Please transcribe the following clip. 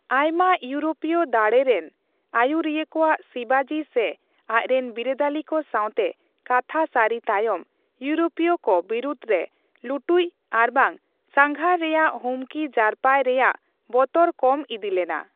ᱟᱭᱢᱟ ᱤᱭᱨᱚᱯᱤᱭᱚ ᱫᱟᱲᱮ ᱨᱮᱱ ᱟᱹᱭᱩᱨᱤᱭᱟᱹᱠᱚ ᱥᱤᱵᱟᱡᱤ ᱥᱮ ᱟᱡᱽᱨᱮᱱ ᱵᱤᱨᱟᱹᱫᱟᱹᱞᱤ ᱠᱚ ᱥᱟᱣᱛᱮ ᱠᱟᱛᱷᱟ ᱥᱟᱨᱤ ᱛᱟᱭᱚᱢ, ᱤᱭᱩᱨᱳᱯᱤᱭ ᱠᱚ ᱵᱤᱨᱩᱫ ᱨᱮ ᱞᱩᱴᱩᱡᱽ ᱟᱨᱵᱟᱝ ᱥᱟᱸᱜᱷᱟᱨ ᱨᱮᱭᱟᱜ ᱦᱩᱢᱠᱤ ᱡᱟᱨᱯᱟᱭ ᱨᱮᱭᱟᱜ ᱵᱚᱛᱚᱨ ᱠᱚᱢ ᱤᱫᱤ ᱞᱮᱱᱟ ᱾